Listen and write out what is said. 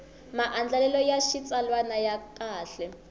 maandlalelo ya xitsalwana ya kahle